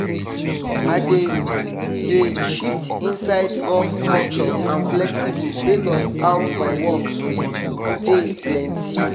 i dey dey shift inside rough structure and flexible based on how my work tey plenty.